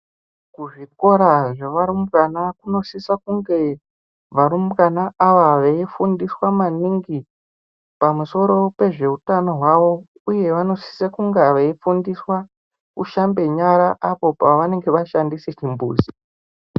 Kuzvikora kwearumbwana kunosisa kunge varumbwana ava veifundiswa maningi pamusoro pezveutano hwavo uye vanosisa kunge veifundiswa kushambe nyara apo paanenge vashandise chimbuzi.